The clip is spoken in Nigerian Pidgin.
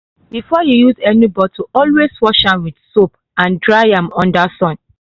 before you use any bottle always wash am with soap and dry am under sun.